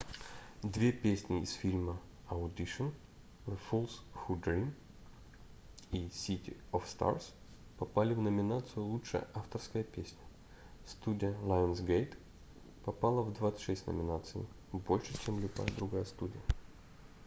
две песни из фильма — audition the fools who dream и city of stars попали в номинацию лучшая авторская песня. студия lionsgate попала в 26 номинаций — больше чем любая другая студия